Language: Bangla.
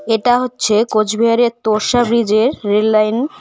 এটা হচ্ছে কোচবিহারের তোর্ষা ব্রিজের রেললাইন .